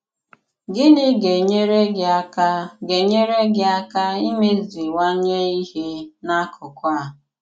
Gịnị ga-enyèrè gị àka ga-enyèrè gị àka ìmezìwànye ìhé n'akùkù a?